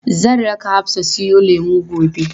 Zan raka Hafsa siyo lemu gobe.